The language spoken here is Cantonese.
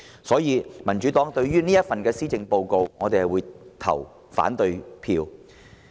所以，民主黨將對這份施政報告投反對票。